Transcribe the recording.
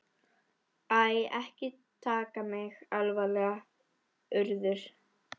Æ, ekki taka mig alvarlega, Urður.